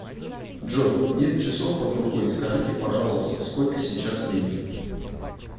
джой нет часов под рукой скажите пожалуйста сколько сейчас времени